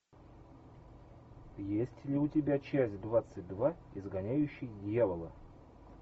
есть ли у тебя часть двадцать два изгоняющий дьявола